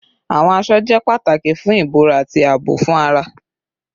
Awọn aṣọ jẹ pataki fun ibora ati aabo fun ara